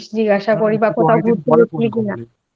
করি তুই কি করছিস জিজ্ঞাসা করি বা কোথাও ঘুরতে গেছিস কিনা।